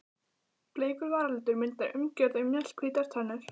Bleikur varalitur myndar umgjörð um mjallhvítar tennur.